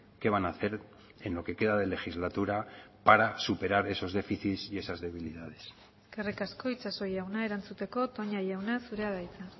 qué van a hacer en lo que queda de legislatura para superar esos déficits y esas debilidades eskerrik asko itxaso jauna erantzuteko toña jauna zurea da hitza